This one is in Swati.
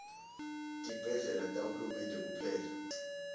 tibhedlela tahulumende kuphela